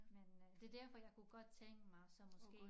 Men øh det derfor jeg kunne godt tænke mig så måske